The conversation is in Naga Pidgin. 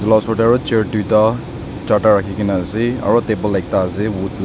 osor tey aro chair tuita charta rakhina ase aro table ekta ase wood la